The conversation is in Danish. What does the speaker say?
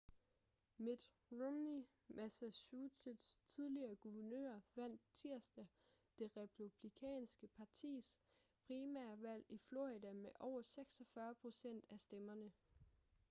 mitt romney massachusetts' tidligere guvernør vandt tirsdag det republikanske partis primærvalg i florida med over 46 procent af stemmerne